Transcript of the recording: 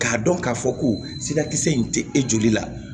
K'a dɔn k'a fɔ ko sirakisɛ in tɛ e joli la